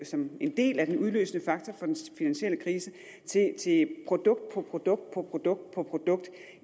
som en del af den udløsende faktor for den finansielle krise til produkt på produkt produkt på produkt